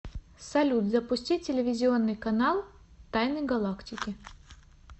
салют запусти телевизионный канал тайны галактики